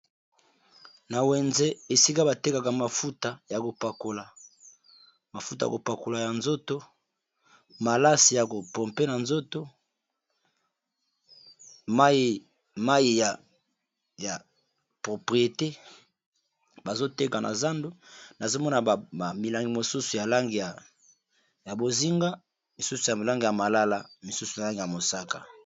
Na wenze esika batekaka mafuta ya kopakola mafuta ya kopakola ya nzoto malasi ya kopompe na nzoto mai ya propriyete bazoteka na zando nazomona milangi mosusu ya bozinga misusu ya milangi ya malala misusu na langi ya mosaka.